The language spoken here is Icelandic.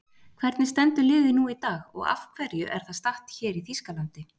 Hvernig stendur liðið nú í dag og af hverju er það statt hér í Þýskalandi?